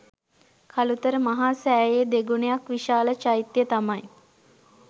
කළුතර මහා සෑයේ දෙගුණයක් විශාල චෛත්‍ය තමයි